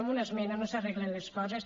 amb una esmena no s’arreglen les coses